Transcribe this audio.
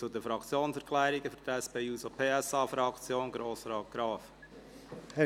Wir kommen also zu den Fraktionssprechern.